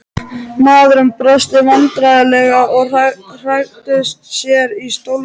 Maðurinn brosti vandræðalega og hagræddi sér í stólnum.